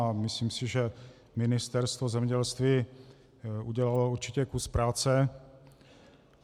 A myslím si, že Ministerstvo zemědělství udělalo určitě kus práce.